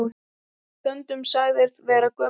Stundum sagður vera gömul sál.